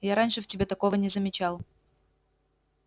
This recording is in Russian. я раньше в тебе такого не замечал